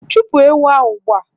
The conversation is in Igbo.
Chụpụ ewu a ugbua!.